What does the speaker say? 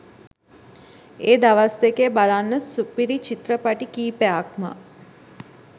ඒ දවස් දෙකේ බලන්න සුපිරි චිත්‍රපටි කීපයක්ම